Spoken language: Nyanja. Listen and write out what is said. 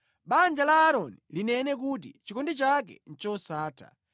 Banja la Aaroni linene kuti, “Chikondi chake ndi chosatha.”